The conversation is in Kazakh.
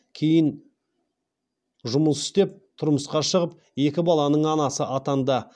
кейін дұмыс істеп тұрмысқа шығып екі баланың анасы атанды